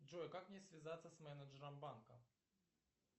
джой как мне связаться с менеджером банка